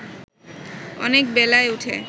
অনেক বেলায় উঠে